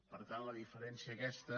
per tant la diferència aquesta